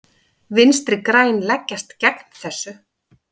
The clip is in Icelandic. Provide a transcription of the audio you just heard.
Vinstri græn leggjast gegn þessu.